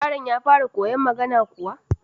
Yaron ya fara koyon magana kuwa?